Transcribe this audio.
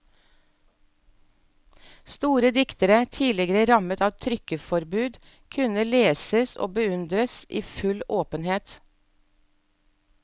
Store diktere, tidligere rammet av trykkeforbud, kunne leses og beundres i full åpenhet.